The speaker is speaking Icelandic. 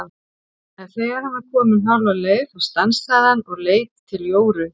En þegar hann var kominn hálfa leið þá stansaði hann og leit til Jóru.